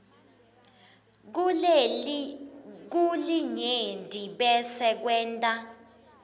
kulinyenti bese kwenta